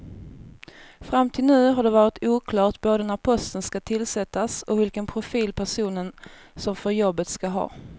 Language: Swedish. Fram till nu har det varit oklart både när posten ska tillsättas och vilken profil personen som får jobbet ska ha.